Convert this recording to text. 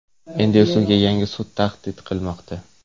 Endi esa unga yangi sud tahdid qilmoqda.